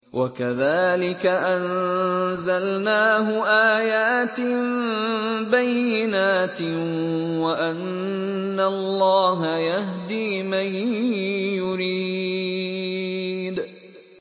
وَكَذَٰلِكَ أَنزَلْنَاهُ آيَاتٍ بَيِّنَاتٍ وَأَنَّ اللَّهَ يَهْدِي مَن يُرِيدُ